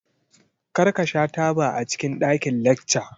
Kar ka sha taba a cikin ɗakin lacca!